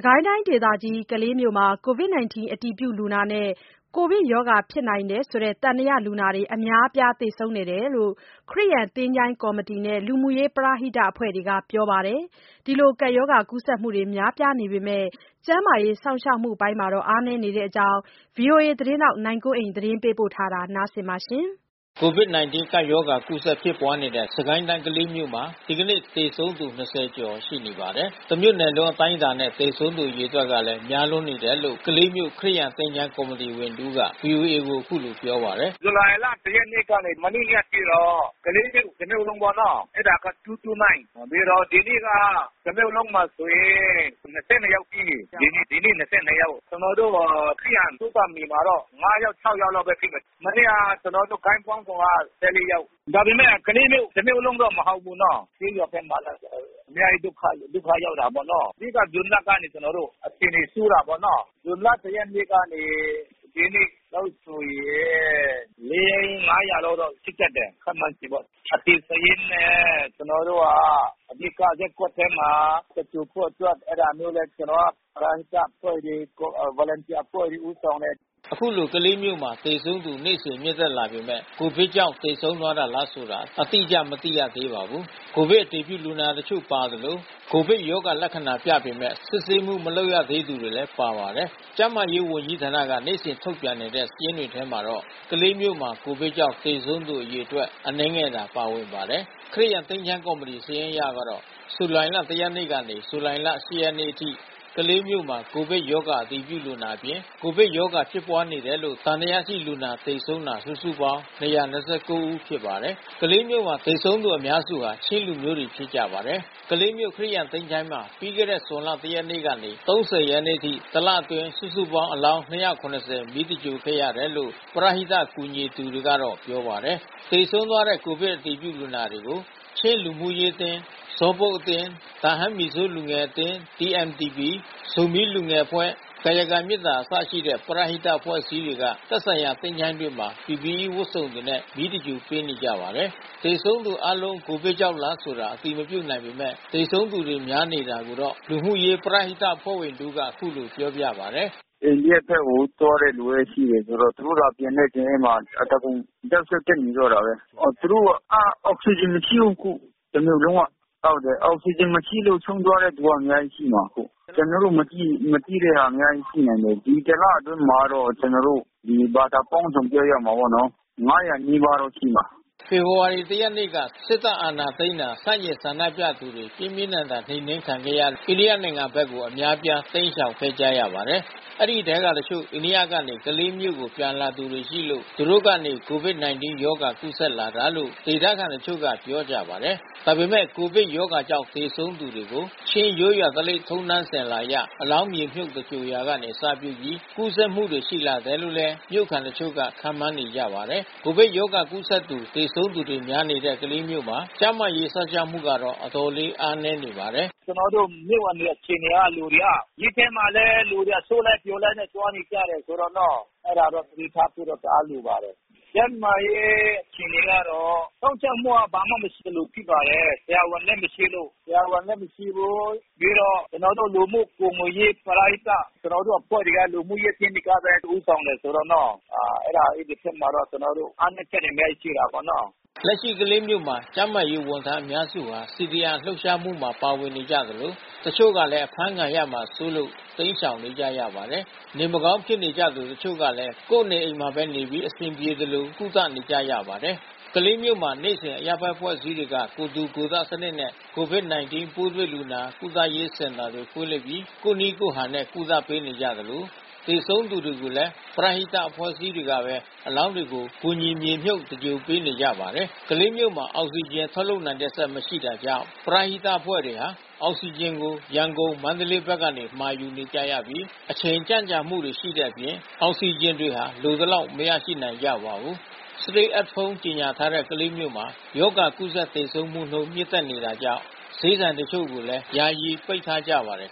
ကိုင်းတိုင်းဒေသကြီး ကလေးမြို့မှာ ကိုဗစ်- ၁၉ အတည်ပြုလူနာနဲ့ ကိုဗစ်ရောဂါဖြစ်နိုင်တယ်ဆိုတဲ့ သံသယလူနာတွေ အများအပြား သေဆုံးနေတယ်လို့ ခရစ်ယာန် သချိ ုၤင်းကော်မတီတွေနဲ့ လူမှုရေးပရဟိတအဖွဲ့ဝင်တွေကပြောပါတယ်။ ရောဂါကူးစက်မှုများပြားပေမဲ့ ကျန်းမာရေး စောင့်ရှောက်မှုပိုင်းတွေမှာ အားနည်းနေတဲ့အကြောင်း ဗွီအိုအေသတင်းထောက် နိုင်ကွန်းအိန်က သတင်းပေးပို့ ထားပါတယ်။ ကိုဗစ်- ၁၉ ကပ်ရောဂါ ကူးစက် ဖြစ်ပွားနေတဲ့ စစ်ကိုင်းတိုင်း ကလေးမြို့မှာ ဒီနေ့ သေဆုံးသူ ၂၀ ကျော်ရှိပါတယ်။ တမြို့နယ်လုံးအတိုင်းအတာနဲ့ သေဆုံးသူအရေအတွက်လည်း များနေတယ်လို့ ကလေးမြို့ ခရစ်ယာန်သချို ၤးကော်မတီဝင်တဦးက ဗွီအိုအေကို ပြောပါတယ်။ "ဇူလိုင်လ ၁ ရက်နေ့ကနေ ဒီနေ့အထိတော့ ကလေးမြို့တမြို့လုံးပေါ့နော။ အဲတာက ၂၂၉ ။ ဒီနေ့က တမြို့လုံးမှာဆိုရင် ၂၂ ယောက်ရှိတယ်။ ဒီနေ့ ၂၂ ယောက်။ မနေ့က ကျနော်တို့ ခရစ်ယာန်သုဿာန်မြေမှာတော့ ၁၄ ယောက်။ ဒါပေမဲ့ ကလေးမြို့ တမြို့လုံးတော့မဟုတ်ဘူးနော။ ဇွန်လ ၁ ရက်နေ့ကနေ ဒီနေ့အထိဆိုရင် လေး ငါးရာလောက်တော့ရှိတတ်တယ်။ အသေစာရင်းနဲ့ အဓိကရပ်ကွက်ထဲမှာ သင်္ဂြိုလ်ဖို့အတွက် အဲတာမျိုးလဲ ပရဟိတအဖွဲ့တွေ Volunteer အဖွဲ့တွေ ဦးဆောင်တယ်။" ခုလို ကလေးမြို့မှာ သေဆုံးသူ နေ့စဉ် မြင့်တက်နေပေမဲ့ ကိုဗစ်ကြောင့်သေဆုံးသွားတာလားဆိုတာ အတိအကျ မသိရပါဘူး။ ကိုဗစ်အတည်ပြုလူနာတချို့ပါသလို ကိုဗစ်ရောဂါလက္ခဏာပြပေမဲ့ စစ်ဆေးမှု မလုပ်ရသေးသူတွေလည်း ပါပါတယ်။ ကျန်းမာရေးဝန်ကြီးဌာနက နေ့စဉ်ထုတ်ပြန်နေတဲ့ စာရင်းတွေထဲမှာတော့ ကလေးမြို့မှာ ကိုဗစ်ကြောင့် သေဆုံးသူအရေအတွက် အနည်းငယ်သာပါဝင်ပါတယ်။ ခရစ်ယာန် သချိ ုၤင်းကော်မတီ စာရင်းအရကတော့ ဇူလိုင်လ ၁ ရက်နေ့ကနေ ဇူလိုင်လ ၈ ရက်နေ့အထိ ကလေးမြို့မှာ ကိုဗစ်ရောဂါ အတည်ပြုလူနာအပြင် ကိုဗစ်ရောဂါဖြစ်နေတယ်လို့ သံသယရှိတဲ့လူနာ သေဆုံးတာ စုစုပေါင်း ၂၂၉ ဦးဖြစ်ပါတယ်။ ကလေးမြို့မှာ သေဆုံးနေကြသူ အများစုက ချင်းလူမျိုးတွေဖြစ်ကြပါတယ်။ ကလေးမြို့ ခရစ်ယာန် သချိ ုၤင်းမှာ ပြီးခဲ့တဲ့ ဇွန်လ ၁ ရက်နေ့ကနေ ၃၀ ရက်နေ့အထိ တလအတွင်း စုစုပေါင်း အလောင်း ၂၇၀ မီးသဂြိုၤလ်ခဲ့ရတယ်လို့ ပရဟိတကူညီနေသူတွေက ပြောပါတယ်။ သေဆုံးသွားတဲ့ ကိုဗစ်အတည်ပြုလူနာတွေကို ချင်းလူမှုရေးအသင်း ၊ ဇောလ်ဘုတ် (Zawl buk)၊ တာဟန်းမီဇိုးလူငယ်အသင်း (TMTP)၊ ဇိုမီးလူငယ်အဖွဲ့ ကာယကံမေတ္တာ စတဲ့ ပရဟိတအဖွဲ့အစည်းတွေက သက်ဆိုင်ရာသချို ၤးတွေမှာ PPE ဝတ်စုံတွေနဲ့ မီးရှို့သဂြိုၤလ်ပေးနေကြပါတယ်။ သေဆုံးသူအားလုံး ကိုဗစ်ကြောင့်လားဆိုတာ အတည်မပြုနိုင်ပေမဲ့ သေဆုံးသူတွေများနေတဲ့အကြောင်း လူမှုရေးပရဟိတအဖွဲ့ဝင်တဦးက ပြောပါတယ်။ "အိန္ဒိယဘက်ကို သွားတဲ့လူလည်းရှိတယ်ဆိုတော့ သူတို့သာပြန်တဲ့စာရင်းမှာ အသားကုန် sensitive ဖြစ်နေတော့တာပဲ။ အောက်စီဂျင်မရှိဘူး အခု။ တမြို့လုံးက အောက်စီဂျင်မရှိလို့ ဆုံးသွားတာ အများကြီးရှိမှ ာအခု။ ဒီတလအတွင်းမှာတော့ ကျနော်တို့ ဘာသာပေါင်းစုံ ပြောရမှာပေါ့နော်၊ ၅၀၀ နီးပါးတော့ရှိမှာ။" ဖေဖော်ဝါရီလ ၁ ရက်နေ့မှာ စစ်တပ်အာဏာသိမ်းတာကို ဆန့်ကျင်ဆန္ဒပြသူတွေ ပြင်းပြင်းထန်ထန် နှိမ်နှင်းခံရလို့ အိန္ဒိယနိုင်ငံဘက်ကို အများအပြား တိမ်းရှောင်ခဲ့ကြပါတယ်။ အဲဒီထဲကတချို့ အိန္ဒိယကနေ ကလေးမြို့ကို ပြန်လာသူတွေရှိလို့ သူတို့ကနေ ကိုဗစ်-၁၉ရောဂါ ကူးစက်လာတာလို့ ဒေသခံတချို့က ပြောကြပါတယ်။ ဒါ့အပြင် ကိုဗစ်ရောဂါကြောင့်သေဆုံးသူကို ချင်းရိုးရာထုံးတမ်းစဉ်အလာအရ အလောင်းမြေမြှုတ်သဂြိုၤလ်ရာက အစပြုပြီး ကူးစက်မှုတွေရှိလာတယ်လို့လည်း မြို့ခံတချို့ကခန့်မှန်းနေကြပါတယ်။ကိုဗစ်ရောဂါကူးစက်သူ၊ သေဆုံးသူတွေများနေတဲ့ ကလေးမြို့မှာ ကျန်းမာရေးစောင့်ရှောက်မှုကတော့ အတော်လေး အားနည်းနေပါတယ်။ "ကျနော်တို့မြို့မှာ နေတဲ့လူတွေအခြေအနေက မြို့မှာလည်း လူတွေ အစုလိုက်အပြုံလိုက် သွားနေကြတယ်ဆိုတော့နော။ အဲတာတော့ သတိထားဖို့တော့ တအားလိုပါတယ်။ ကျန်းမာရေးအခြေအနေကတော့ စောင့်ရှောက်မှုက ဘာမှမရှိသလိုဖြစ်ပါတယ်။ ဆရာဝန်လည်းမရှိဘူး။ ပြီးတော့ပရဟိတ ကျနော်တို့အဖွဲ့တွေက လူမှုရေးအသင်းတွေကပဲ ဦးဆောင်တယ်ဆိုတော့နော။ အဲဒီဖက်မှာလည်း ကျနော်တို့အားနည်းချက်တွေလည်းရှိတာပေါ့နော။" လက်ရှိ ကလေးမြို့မှာ ကျန်းမာရေးဝန်ထမ်းအများစုဟာ CDM လှုပ်ရှားမှုမှာပါဝင်နေကြသလို တချို့လည်း အဖမ်းဆီးခံရမှာစိုး လို့ တိမ်းရှောင်နေကြရပါတယ်။ နေမကောင်းဖြစ်နေကြသူ တချို့ကလည်း ကိုယ့်နေအိမ်တွေမှာပဲနေပြီး အဆင်ပြေသလို ကုသနေကြရပါတယ်။ ကလေးမြို့မှာ ဒေသတွင်း အရပ်ဘက်အဖွဲ့အစည်းတွေက ကိုယ်ထူကိုယ်ထစနစ်နဲ့ ကိုဗစ်-၁၉ ပိုးတွေ့လူနာကုသရေးစင်တာတွေ ဖွင့်လှစ်ပြီး ကိုယ့်နည်းကိုယ်ဟန်နဲ့ ကုသပေးနေကြသလို သေဆုံးသူတွေကိုလည်း ပရဟိတအဖွဲ့အစည်းတွေကပဲ အလောင်းတွေကို ကူညီမြေမြုပ်သဂြိုၤလ်ပေးနေကြပါတယ်။ ကလေးမြို့မှာ အောက်ဆီဂျင်ထုတ်လုပ်နိုင်တဲ့စက် မရှိတာကြောင့် ပရဟိတအသင်းအဖွဲ့တွေဟာ အောက်ဆီဂျင်တွေကို ရန်ကုန်၊ မန္တလေးဘက်ကနေ မှာယူကြရပြီး အချိန်ကြန့်ကြာမှုရှိတဲ့အပြင် အောက်ဆီဂျင်တွေ လိုသလောက် မရနိုင်ကြပါဘူး။ Stay at Home ကြေညာထားတဲ့ ကလေးမြို့မှာ ရောဂါကူးစက်သေဆုံးမှုနှုန်း မြင့်တက်နေတာကြောင့် ဈေးဆိုင်အချို့ကိုလည်း ယာယီ ပိတ်ထားကြပါတယ်